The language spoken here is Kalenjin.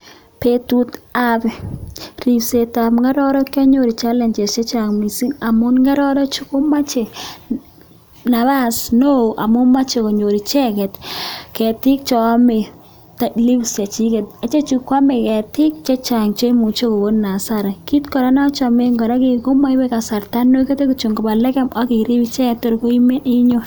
Betutab ribsetab ng'ororek kionyoru challenges chechang mising amun ng'ororechu komoje nabas neoo amun moche konyor icheket ketik cheome leafs chechiket, ichechu kwome ketik chechang cheimuche kokonin asara, kiit kora nochomen kii komoibe kasarta nekere kitiok koba lekem ak irib icheket Kotor koimen inyon.